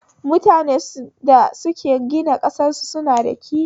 Mutunen da suke gina ƙasar su na da kishi